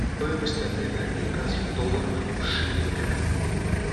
стоимость обмена американских долларов в шиллингах